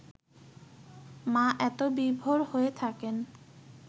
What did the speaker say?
মা এত বিভোর হয়ে থাকেন